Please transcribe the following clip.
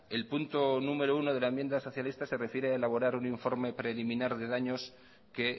el primer punto de la enmienda socialista se refiere a elaborar un informe preliminar de daños que